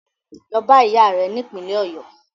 Lọ bá ìyá rẹ ni ìpínlẹ́ Ọ̀yọ́!